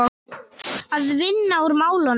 Að vinna úr málunum?